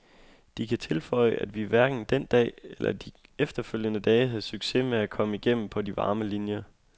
De kan tilføje, at vi hverken den dag eller de efterfølgende dage havde succes med at komme igennem på de varme linier.